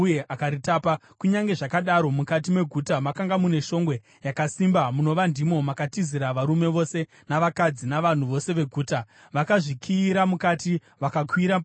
Kunyange zvakadaro, mukati meguta makanga mune shongwe yakasimba, munova ndimo makatizira varume vose navakadzi, navanhu vose veguta. Vakazvikiyira mukati vakakwira padenga reshongwe.